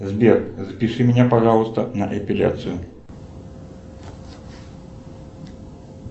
сбер запиши меня пожалуйста на эпиляцию